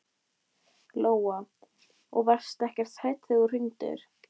Lóa: Og varstu ekkert hrædd þegar þú hringdir?